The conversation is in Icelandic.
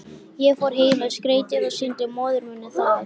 Ég fór heim með skeytið og sýndi móður minni það.